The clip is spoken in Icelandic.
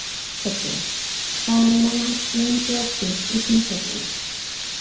Toddi, hvað er lengi opið í Sundhöllinni?